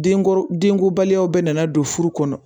Den kɔrɔ den ko baliyaw bɛ nana don furu kɔnɔ